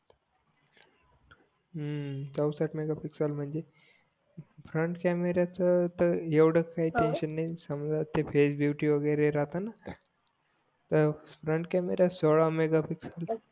हम्म चवसष्ठ मेगापिसिक्सएल म्हणजे फ्रंट कॅमेराच तर एवढा काही काही टेन्शन नाही समझ ते फेस बिऊटी वगैरे राहताना तर फ्रंट कॅमेरा सोळा मेगापिक्सएल